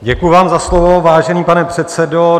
Děkuji vám za slovo, vážený pane předsedo.